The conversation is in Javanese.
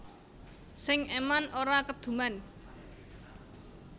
Sing eman ora keduman